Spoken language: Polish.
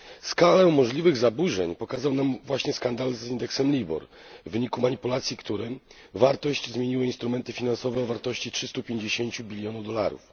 Skalę możliwych zaburzeń pokazał nam właśnie skandal z indeksem LIBOR, w wyniku manipulacji którym wartość zmieniły instrumenty finansowe o wartości 350 bilionów dolarów.